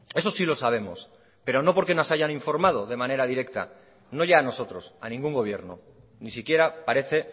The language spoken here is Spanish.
eso sí lo sabemos pero no porque nos hayan informado de manera directa no ya a nosotros a ningún gobierno ni siquiera parece